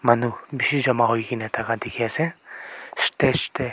manu bishi jama hoi kena thaka dikhi ase stage teh.